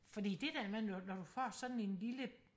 fordi det der med når når du får sådan en lille